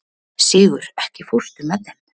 Sigur, ekki fórstu með þeim?